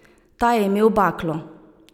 Ta je imel baklo.